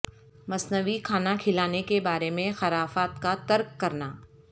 مصنوعی کھانا کھلانے کے بارے میں خرافات کا ترک کرنا